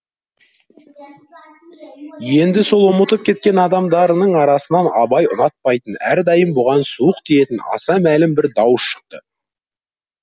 енді сол ұмытып кеткен адамдарының арасынан абай ұнатпайтын әрдайым бұған суық тиетін аса мәлім бір дауыс шықты